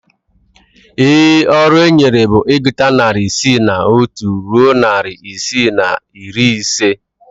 Ee, ọrụ enyere bụ ịgụta narị isii na otu ruo narị isii na iri ise